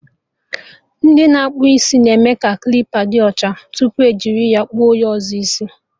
Ndị na-akpụ isi na-eme ka klipa dị ọcha tupu ejiri ya kpụọ onye ọzọ isi